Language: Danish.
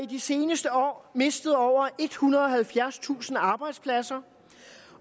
de seneste år mistet over ethundrede og halvfjerdstusind arbejdspladser